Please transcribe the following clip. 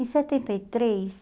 em setenta e três